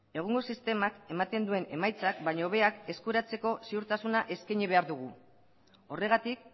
egungo sistemak ematen duen emaitzak baino hobeak eskuratzeko ziurtasuna eskaini behar dugu horregatik